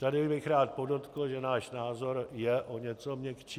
Tady bych rád podotkl, že náš názor je o něco měkčí.